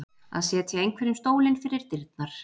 Að setja einhverjum stólinn fyrir dyrnar